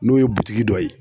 N'o ye dɔ ye.